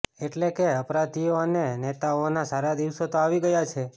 એટલે કે અપરાધીઓ અને નેતાઓના તો સારા દિવસો તો આવી ગયા છે